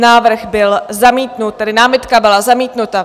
Návrh byl zamítnut, tedy námitka byla zamítnuta.